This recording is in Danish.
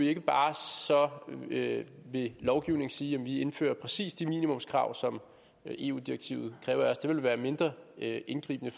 ikke bare ved ved lovgivning sige at vi indfører præcis de minimumskrav som eu direktivet kræver af os det ville være mindre indgribende